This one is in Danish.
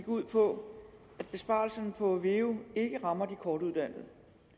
ud på at besparelserne på veu ikke rammer de kortuddannede